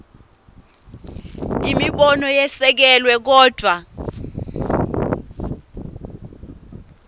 imibono yesekelwe kodvwa